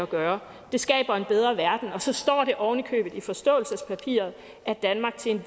gøre det skaber en bedre verden og så står det oven i købet i forståelsespapiret at danmark til